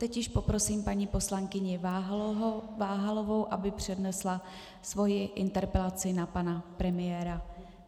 Teď již poprosím paní poslankyni Váhalovou, aby přednesla svou interpelaci na pana premiéra.